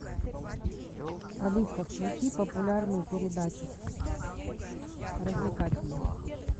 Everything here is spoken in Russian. алиса включи популярную передачу развлекательную